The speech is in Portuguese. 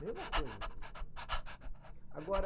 Mesma coisa. Agora.